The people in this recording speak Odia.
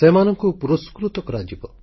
ସେମାନଙ୍କୁ ପୁରସ୍କୃତ କରାଯିବ